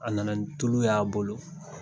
A nana ni tulu y'a bolo.